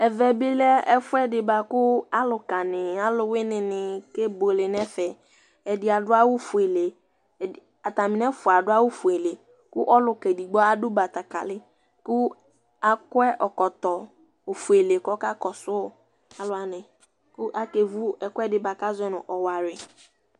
ɛvɛbi lɛ ɛfuɛdibuɑku ɑlukɑni ɑluwinini kɛbuɛlɛnɛfɛ ɛdi ɑdu ɑwu fuɛlɛ ɑtɑminɛfuɑ ɑdu ɑwufuɛlɛ ku ɔlkɑ ɛdgbo ɑdu bɑtɑkɛli ku ɑkɔ ɛkɔto ɔfudi ɔkɑkɔsu ɑluwɑni ku ɑkɛvu ɛkuɛdi ku ɑkɛvu ɛkuɛdi buɑ ɑzɔ nu ɔwɑri